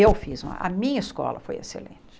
Eu fiz, a minha escola foi excelente.